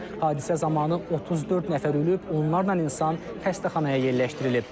Hadisə zamanı 34 nəfər ölüb, onlarla insan xəstəxanaya yerləşdirilib.